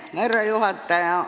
Härra juhataja!